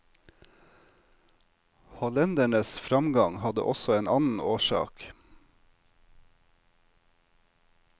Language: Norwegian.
Hollendernes framgang hadde også en annen årsak.